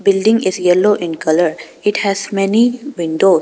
Building is yellow in colour. It has many window.